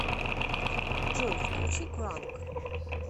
джой включи кранк